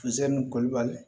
Funsɛni kolibali